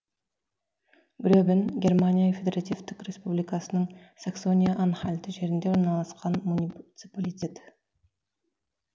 гребен германия федеративтік республикасының саксония анхальт жерінде орналасқан муниципалитет